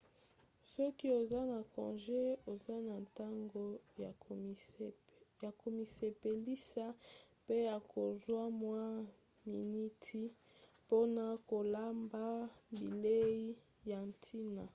soki oza na conge oza na ntango ya komisepelisa pe ya kozwa mwa miniti mpona kolamba bilei ya ntina